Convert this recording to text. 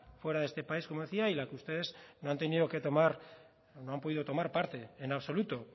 fuera de este país como decía y en la que ustedes no han podido tomar parte en absoluto